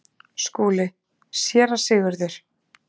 SKÚLI: Séra Sigurður!